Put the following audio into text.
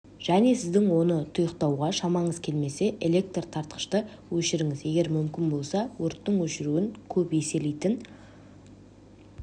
және сіздің оны тұйықтатуға шамаңыз келмесе электр таратқышты өшіріңіз егер мүмкін болса өрттің өршуін көп еселейтін